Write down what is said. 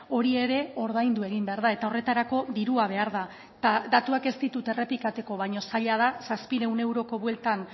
hori ere ordaindu egin behar da eta horretarako dirua behar da eta datuak ez ditut errepikatuko baina zaila da zazpiehun euroko bueltan